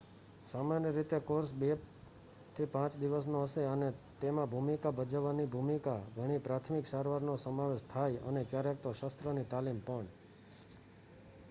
સામાન્ય રીતે કોર્સ 2-5 દિવસનો હશે અને તેમાં ભૂમિકા ભજવવાની ભૂમિકા ઘણી પ્રાથમિક સારવાર નો સમાવેશ થાય અને ક્યારેક તો શસ્ત્રની તાલીમ પણ